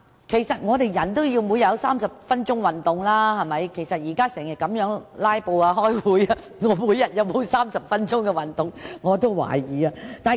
其實，人類每日也要進行30分鐘運動，現時會議經常"拉布"，我真的懷疑我每日有否30分鐘的運動時間。